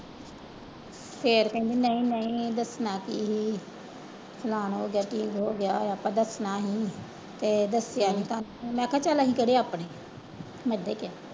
ਫਿਰ ਕਹਿੰਦੀ ਨਹੀਂ ਨਹੀਂ ਦੱਸਣਾ ਕੀ ਸੀ ਹੋ ਗਿਆ ਕੀ ਹੋ ਗਿਆ ਆਪਣਾ ਦੱਸਣਾ ਨੀ ਤੇ ਦੱਸਿਆ ਨੀ ਤਾਂ, ਮੈਂ ਕਿਹਾ ਚੱਲ ਅਸੀਂ ਕਿਹੜੇ ਆਪਣੇ ਮੈਂ ਏਦਾਂ ਹੀ ਕਿਹਾ।